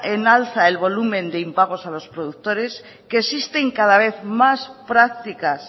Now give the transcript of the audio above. en alza el volumen de impagos a los productores que existen cada vez más prácticas